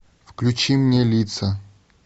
включи мне лица